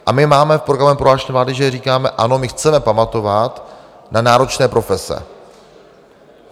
A my máme v programovém prohlášení vlády, že říkáme ano, my chceme pamatovat na náročné profese.